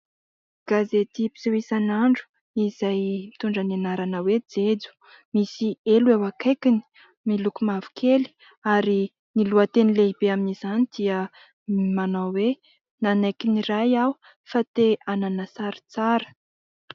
Gazety mpiseho isan'andro izay mitondra ny anarana hoe " Jejo ", misy helo eo akaikiny, miloko mavokely ary ny lohateny lehibe eo amin'izany dia manao hoe :" Nanaiky niray aho fa te hanana sary tsara ".